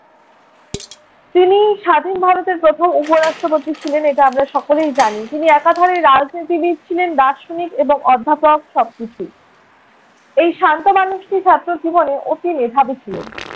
তিনি স্বাধীন ভারতের প্রথম উপ-রাষ্ট্রপতি ছিলেন এটা আমরা সকলেই জানি। তিনি একাধারে রাজনীতিবীদ ছিলেন, দার্শনিক এবং অধ্যাপক সবকিছুই। এই শান্ত মানুষটি ছাত্র জীবনে অতি মেধাবী ছিলেন।